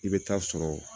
I bɛ taa sɔrɔ